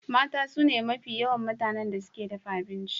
Mata sune mafi yawa mutanen da suke dafa abinci.